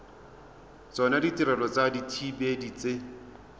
tsona ditirelo tsa dithibedi tse